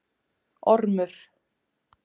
Ormur